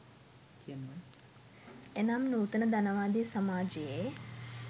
එනම් නූතන ධනවාදී සමාජයේ